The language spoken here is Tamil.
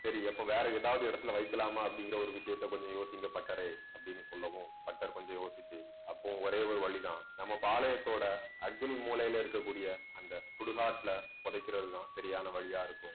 சரி, அப்போ வேற எதாவது இடத்துல வைக்கலாமா அப்படிங்கற ஒரு விஷயத்த கொஞ்சம் யோசிங்க பட்டறை அப்படின்னு சொல்லவும் பட்டர் கொஞ்சம் யோசிச்சு அப்போ ஒரே ஒரு வழிதான். நம்ம பாளையத்தோட அக்னி மூலையில இருக்கக்கூடிய அந்த சுடுகாட்டுல புதைக்கிறதுதான் சரியான வழியா இருக்கும்